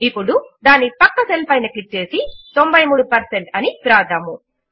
ఇప్పుడు దాని ప్రక్క సెల్ పైన క్లిక్ చేసి 93 పెర్సెంట్ అని వ్రాద్దాము